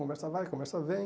Conversa vai, conversa vem.